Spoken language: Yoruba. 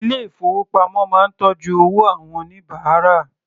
Ilé ìfowópamọ́ máa ń tọ́jú owó àwọn oníbàárà.